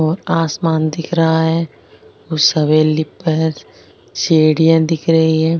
और आसमान दिख रहा है उस हवेली पर सीढिया दिख रही है।